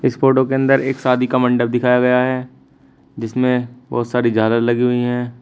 इस फोटो के अंदर एक शादी का मंडप दिखाया गया है जिसमें बहोत सारी झालर लगी हुईं हैं।